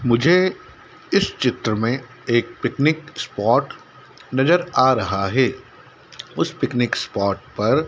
मुझे इस चित्र में एक पिकनिक स्पॉट नजर आ रहा है उस पिकनिक स्पॉट पर--